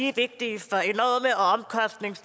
er vigtige